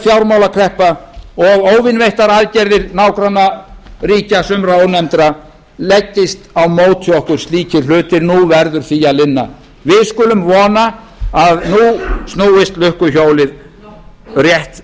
fjármálakreppa og óvinveittar aðgerðir nágrannaríkja sumra ónefndra leggist á móti okkur slíkir hlutir nú verður því að linna við skulum vona að nú snúist lukkuhjólið rétt